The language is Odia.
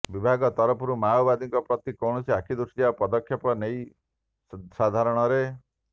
ବିଭାଗ ତରଫରୁ ମାଓବାଦୀଙ୍କ ପ୍ରତି କୌଣସି ଆଖି ଦୃଶିଆ ପଦକ୍ଷେପ ନେଇ ସାଧାରଣରେ